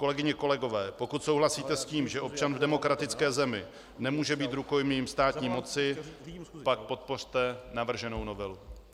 Kolegyně, kolegové, pokud souhlasíte s tím, že občan v demokratické zemi nemůže být rukojmím státní moci, pak podpořte navrženou novelu.